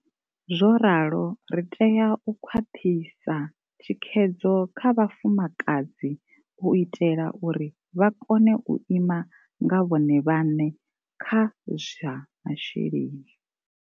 Zwo ralo ri tea u khwaṱhisa thikhedzo kha vhafumakadzi u itela uri vha kone u ima nga vhone vhaṋe kha zwa masheleni.